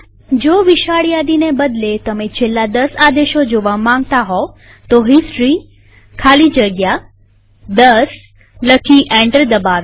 જો વિશાળ યાદીને બદલે તમે છેલ્લા દસ આદેશો જોવા માંગતા હોવ તો હિસ્ટોરી ખાલી જગ્યા 10 લખી એન્ટર દબાવીએ